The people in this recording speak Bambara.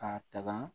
K'a tagan